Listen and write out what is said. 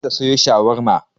Za ta sayo shawarma.